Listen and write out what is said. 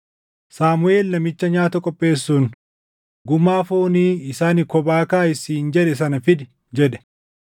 Saamuʼeel namicha nyaata qopheessuun, “Gumaa foonii isa ani kophaa kaaʼi siin jedhe sana fidi” jedhe.